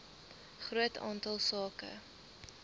groot aantal sake